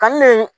Ka ne